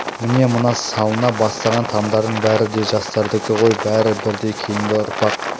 міне мына салына бастаған тамдардың бәрі де жастардікі ғой бәрі бірдей кейінгі ұрпақ